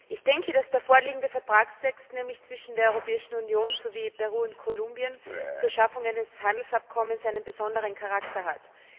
Ich denke, dass der vorliegende Vertragstext, nämlich zwischen der Europäischen Union sowie Peru und Kolumbien, zur Schaffung eines Handelsabkommens einen besonderen Charakter hat.